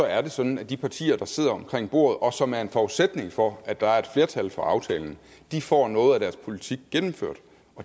er sådan at de partier der sidder omkring bordet og som er en forudsætning for at der er et flertal for aftalen får noget af deres politik gennemført